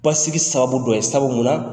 Basigi sababu dɔ ye sababu mun na